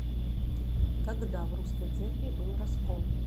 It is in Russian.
когда в русской церкви был раскол